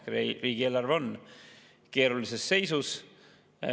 Riigieelarve on keerulises seisus.